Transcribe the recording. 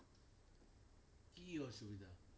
কি অসুভি?